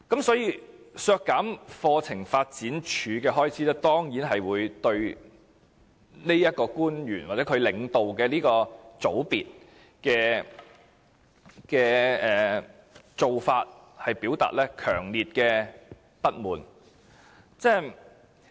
所以，削減課程發展處的開支，當然是對這名官員，或她領導的小組所作出的做法，表達強烈不滿。